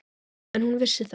En hún vissi það.